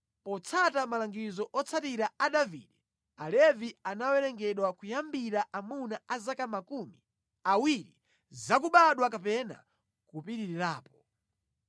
Potsata malangizo otsiriza a Davide, Alevi anawerengedwa kuyambira amuna a zaka makumi awiri zakubadwa kapena kupitirirapo.